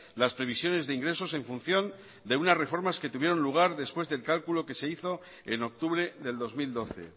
las previsiones de ingresos en función de unas reformas que tuvieron lugar después del cálculo que se hizo en octubre del dos mil doce